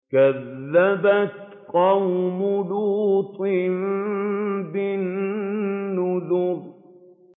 كَذَّبَتْ قَوْمُ لُوطٍ بِالنُّذُرِ